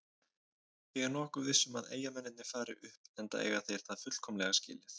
Ég er nokkuð viss um að Eyjamennirnir fari upp enda eiga þeir það fullkomlega skilið.